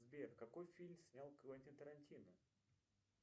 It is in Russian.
сбер какой фильм снял квентин тарантино